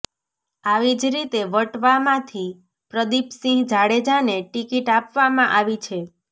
આવીજ રીતે વટવામાંથી પ્રદિપસિંહ જાડેજાને ટિકિટ આપવામાં આવી છે